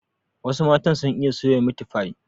Wasu matan sun iya soya Miti fai